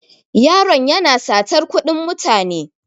Yaron yana satar kuɗin mutane.